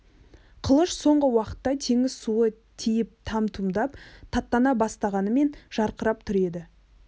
қылыш соңғы уақытта теңіз суы тиіп там-тұмдап таттана бастағанмен жарқырап тұр еді